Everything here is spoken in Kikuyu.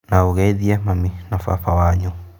Na ũgeithie mami na baba wanyu